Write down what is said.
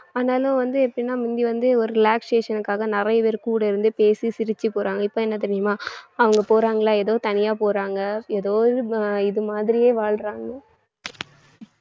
ஆனாலும் வந்து எப்படின்னா மிந்தி வந்து ஒரு relaxation க்காக நிறைய பேர் கூட இருந்தே பேசி சிரிச்சு போறாங்க இப்ப என்ன தெரியுமா அவங்க போறாங்களா ஏதோ தனியா போறாங்க ஏதோ இது மா~ இது மாதிரியே வாழ்றாங்க